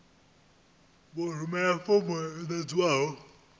vha rumele fomo yo ḓadzwaho